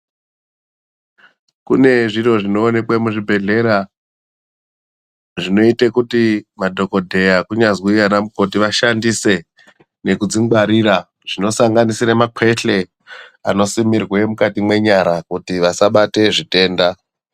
Kune zvimwe zviro zvinoonekwa muzvibhedhlera zvinoita kuti madhokodheya kunyazi Vanya mukoti vashandise nekudzingwarira kusanganisira mapehle anosimirwa mukati nenyara anosimirwa zvitenda.